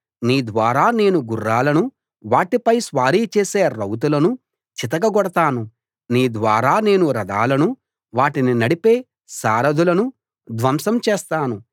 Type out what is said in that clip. నీ ద్వారా నేను గుర్రాలనూ వాటిపై స్వారీ చేసే రౌతులనూ చితకగొడతాను నీ ద్వారా నేను రథాలను వాటిని నడిపే సారధులనూ ధ్వంసం చేస్తాను